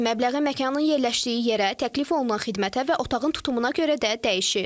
Depozit məbləği məkanın yerləşdiyi yerə, təklif olunan xidmətə və otağın tutumuna görə də dəyişir.